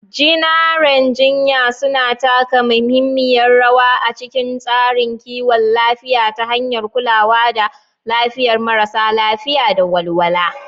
Jinaren jinya suna taka muhimmiyar rawa a cikin tsarin kiwon lafiya ta hanyar kulawa da lafiyar marasa lafiya da walwala.